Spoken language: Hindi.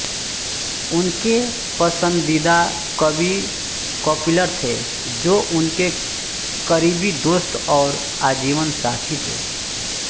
उनके पसंदीदा कवि कपिलर थे जो उनके करीबी दोस्त और आजीवन साथी थे